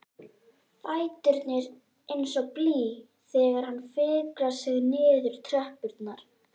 Fæturnir eins og blý þegar hann fikrar sig niður tröppurnar.